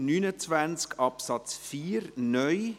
Wir kommen zu Artikel 29 Absatz 4 (neu).